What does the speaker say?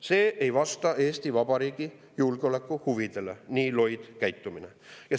See ei vasta Eesti Vabariigi julgeolekuhuvidele, see nii loid käitumine.